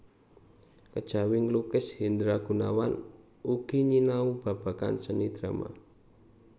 Kejawi nglukis Hendra Gunawan ugi nyinau babagan seni drama